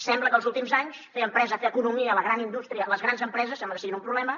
sembla que els últims anys fer empresa fer economia la gran indústria les grans empreses sembla que siguin un problema